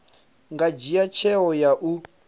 nga dzhia tsheo ya u